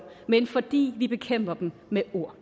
men fordi vi bekæmper dem med ord